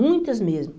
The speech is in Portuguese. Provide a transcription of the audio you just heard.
Muitas mesmo.